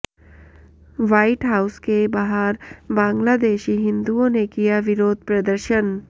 white House के बाहर बांग्लादेशी हिंदुओ ने किया विरोध प्रदर्शन